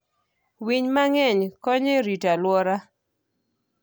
Winy mang'eny konyo e rito aluora.